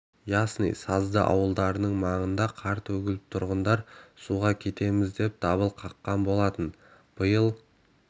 жылы ясный сазды ауылдарының маңына қар төгіліп тұрғындар суға кетеміз деп дабыл қаққан болатын биыл